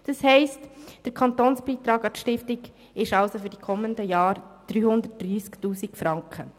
Das heisst, der Kantonsbeitrag an die Stiftung beträgt für die kommenden Jahre 330 000 Franken.